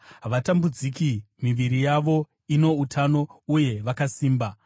Havatambudziki; miviri yavo ino utano uye vakasimba.